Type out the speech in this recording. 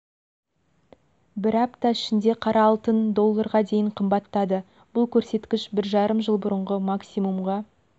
бір апта ішінде қара алтын долларға дейін қымбаттады бұл көрсеткіш бір жарым жыл бұрынғы максимумға